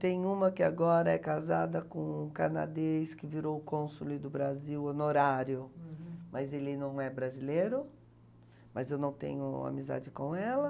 Tem uma que agora é casada com um canadês que virou consul do Brasil, honorário. Uhum. Mas ele não é brasileiro, mas eu não tenho amizade com ela.